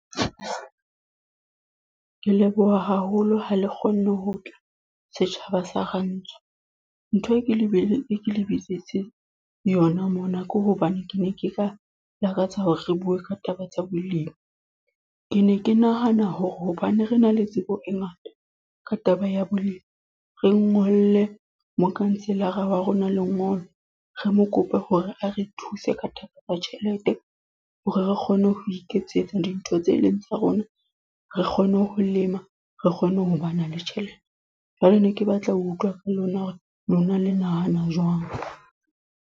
Ke leboha haholo ha le kgonne ho tla, setjhaba sa Rantsho. Ntho e ke le bile, e ke le bitsitseng yona mona ke hobane ke ne ke ka lakatsa hore re bue ka taba tsa bolemi. Ke ne ke nahana hore hobane re na le tsebo e ngata, ka taba ya bolemi. Re ngolle mokhanselara wa rona lengolo. Re mo kope hore a re thuse ka taba ya tjhelete. Hore re kgone ho iketsetsa dintho tse leng tsa rona. Re kgone ho lema, re kgone ho bana le tjhelete. Jwale ne ke batla ho utlwa ka lona hore lona le nahana jwang.